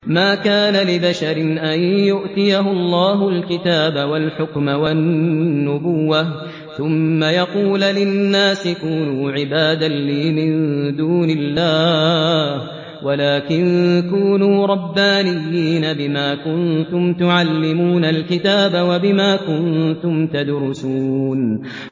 مَا كَانَ لِبَشَرٍ أَن يُؤْتِيَهُ اللَّهُ الْكِتَابَ وَالْحُكْمَ وَالنُّبُوَّةَ ثُمَّ يَقُولَ لِلنَّاسِ كُونُوا عِبَادًا لِّي مِن دُونِ اللَّهِ وَلَٰكِن كُونُوا رَبَّانِيِّينَ بِمَا كُنتُمْ تُعَلِّمُونَ الْكِتَابَ وَبِمَا كُنتُمْ تَدْرُسُونَ